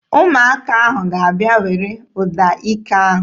Ụmụaka ahụ ga-abịa were trọmpeetị ahụ.